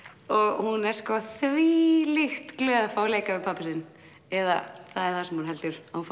og hún er sko þvílíkt glöð að fá að leika við pabba sinn eða það það sem hún heldur að